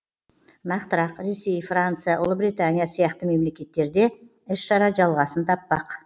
нақтырақ ресей франция ұлыбритания сияқты мемлекеттерде іс шара жалғасын таппақ